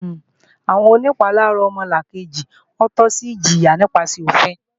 Àwọn onìpalára ọmọnìkejì tọ́ sí ìjìyà nípasẹ̀ òfin